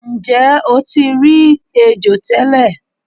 Nje o ti ri ejo tele